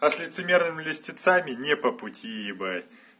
а с лицемерами льстецами не по пути ебать